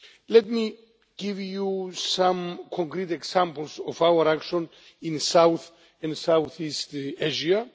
Let me give you some concrete examples of our action in South and South East Asia.